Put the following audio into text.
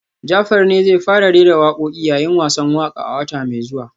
Jafar ne zai fara rera wakoki yayin wasan waka a wata mai zuwa